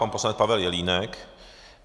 Pan poslanec Pavel Jelínek.